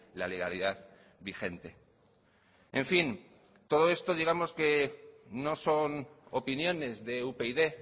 la legalidad vigente en fin todo esto digamos que no son opiniones de upyd